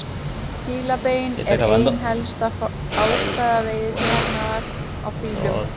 Fílabein er ein helsta ástæða veiðiþjófnaðar á fílum.